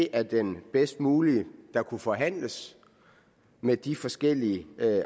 er den bedst mulige der kunne forhandles med de forskellige